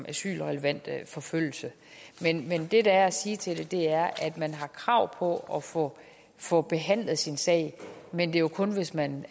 asylrelevant forfølgelse men det der er at sige til det er at man har krav på at få få behandlet sin sag men det er jo kun hvis man